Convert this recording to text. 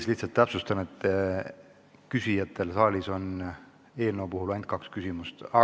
Ma lihtsalt täpsustan protokolli huvides, et küsijatele on selle eelnõu puhul ainult kaks küsimust ette nähtud.